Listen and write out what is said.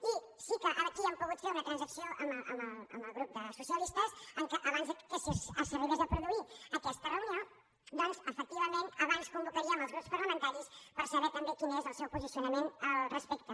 i sí que aquí hem pogut fer una transacció amb el grup dels socialistes que abans que s’arribés a produir aquesta reunió doncs efectivament abans convocaríem els grups parlamentaris per saber també quin és el seu posicionament al respecte